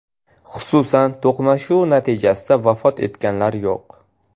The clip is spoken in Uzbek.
Xususan: To‘qnashuv natijasida vafot etganlar yo‘q.